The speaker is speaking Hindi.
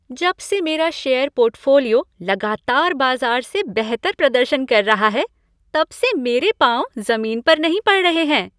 जब से मेरा शेयर पोर्टफोलियो लगातार बाज़ार से बेहतर प्रदर्शन कर रहा है तबसे मेरे पाँव ज़मीन पर नहीं पड़ रहें हैं।